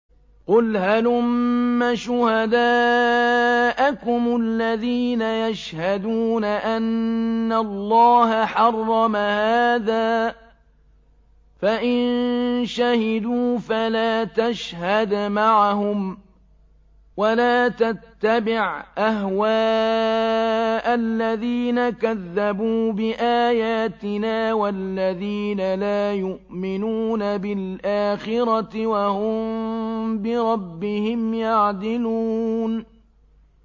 قُلْ هَلُمَّ شُهَدَاءَكُمُ الَّذِينَ يَشْهَدُونَ أَنَّ اللَّهَ حَرَّمَ هَٰذَا ۖ فَإِن شَهِدُوا فَلَا تَشْهَدْ مَعَهُمْ ۚ وَلَا تَتَّبِعْ أَهْوَاءَ الَّذِينَ كَذَّبُوا بِآيَاتِنَا وَالَّذِينَ لَا يُؤْمِنُونَ بِالْآخِرَةِ وَهُم بِرَبِّهِمْ يَعْدِلُونَ